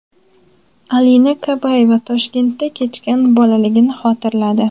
Alina Kabayeva Toshkentda kechgan bolaligini xotirladi.